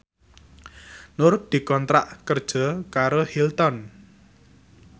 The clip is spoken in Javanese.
Nur dikontrak kerja karo Hilton